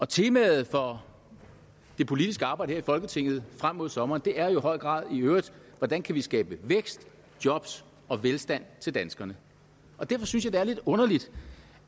temaet for det politiske arbejde i folketinget frem mod sommeren er jo i høj grad hvordan kan vi skabe vækst jobs og velstand til danskerne derfor synes jeg det er lidt underligt